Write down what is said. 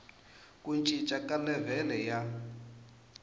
ku cinca ka levhele ya